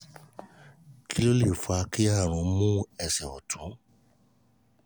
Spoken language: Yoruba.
kí ló lè fa ki àrùn mu ẹsẹ̀ ọ̀tún?